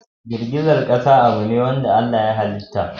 Girgizar ƙasa abune ne wanda Allah ya halitta.